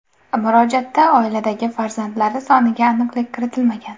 Murojaatda oiladagi farzandlari soniga aniqlik kiritilmagan.